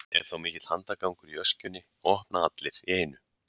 er þá mikill handagangur í öskjunni og opna allir í einu